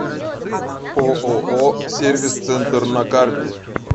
ооо сервис центр на карте